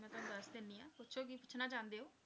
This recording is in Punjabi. ਮੈਂ ਤੁਹਾਨੂੰ ਦੱਸ ਦਿੰਦੀ ਹਾਂ, ਪੁੱਛੋ ਕੀ ਪੁੱਛਣਾ ਚਾਹੁੰਦੇ ਹੋ।